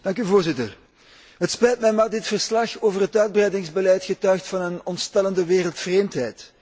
Voorzitter, het spijt mij, maar dit verslag over het uitbreidingsbeleid getuigt van een ontstellende wereldvreemdheid.